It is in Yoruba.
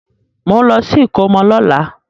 Mò ń lọ sí ìkómọ lọ́la.